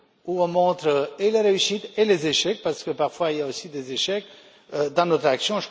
où l'on montre à la fois les réussites et les échecs parce que, parfois, il y a aussi des échecs dans notre action.